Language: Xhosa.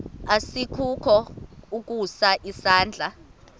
asikukho ukusa isandla